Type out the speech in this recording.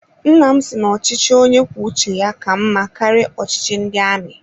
Nnam si na ochichi onye kwuo uche ya ka mma karịa ọchịchị ndị amị